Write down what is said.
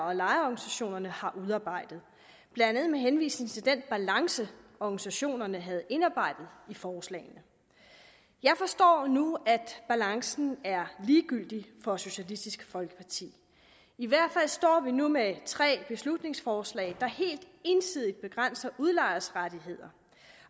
og lejerorganisationerne har udarbejdet blandt andet med henvisning til den balance organisationerne havde indarbejdet i forslagene jeg forstår nu at balancen er ligegyldig for socialistisk folkeparti i hvert fald står vi nu med tre beslutningsforslag der helt ensidigt begrænser udlejers rettigheder